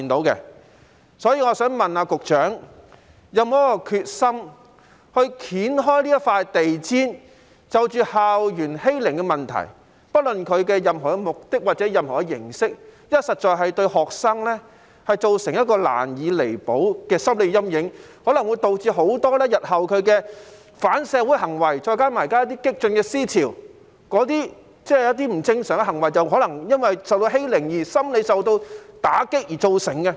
因此，我想問局長有否決心揭開這塊地氈，就着校園欺凌的問題，不論它的目的或形式，因為這實在會對學生造成一個難以彌補的心理陰影，亦可能會導致日後的反社會行為，再加上現時一些激進思潮，一些不正常行為可能是由於曾受欺凌、心理受到打擊所造成。